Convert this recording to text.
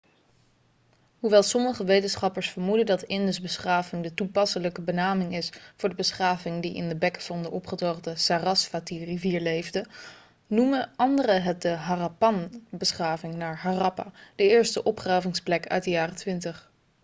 hoewel sommige wetenschappers vermoeden dat indusbeschaving' de toepasselijke benaming is voor de beschaving die in de bekken van de opgedroogde sarasvatirivier leefde noemen anderen het de harappanbeschaving naar harappa de eerste opgravingsplek uit de jaren 20